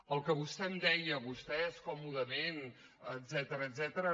el que vostè em deia vostès còmodament etcètera